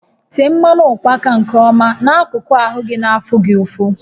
Tee mmanụ ụkpaka nke ọma n'akụkụ ahụ gị na afụ gị ụfụ